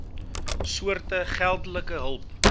soorte geldelike hulp